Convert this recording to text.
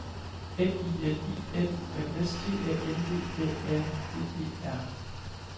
M I N I M U M S T A N D A R D E R